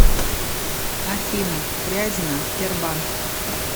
афина фрязино тербанк